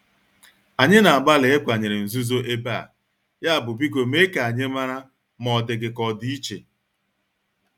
Anyị na-agbalị ịkwanyere nzuzo ebe a, yabụ biko mee ka anyị mara ma ọ dị gị ka ọ dị iche.